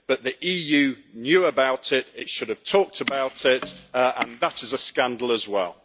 But the EU knew about it, it should have talked about it, and that is a scandal as well.